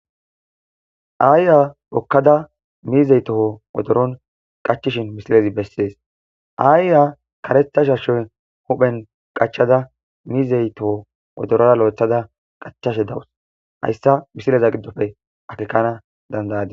Ayiya hokkada miize toho wodoron qachishin misilezi besses. Ayiya karetha shaashe huuphen qachada miize toho wodoruwa loythada qachashe daws haysa misileza giddoppe akeekana danda'adis.